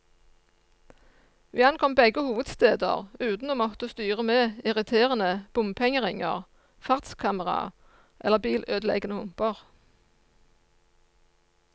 Vi ankom begge hovedsteder uten å måtte styre med irriterende bompengeringer, fartskameraer eller bilødeleggende humper.